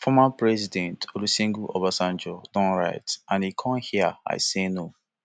former president olusegun obasanjo don write and e come hia i say no